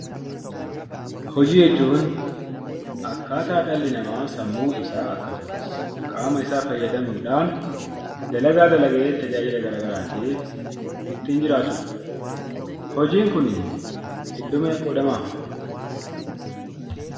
Hojii jechuun akkaataa dhalli namaa sammuu isaa akkasumas qaama isaa fayyadamuudhaan dalagaa dalagee tajaajila garaagaraatiif ittiin jiraatu dha. Hojiin kuni iddoo meeqatti qoodama?